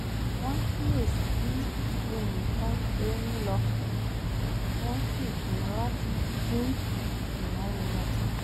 wọ́n kíyè sí bí nǹkan ṣe ń lọ wọ́n sì pinnu láti dín ìnáwó wọn kù